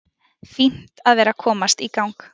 Fínt að vera að komast í gang.